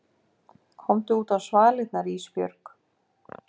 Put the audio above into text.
Komdu útá svalirnar Ísbjörg.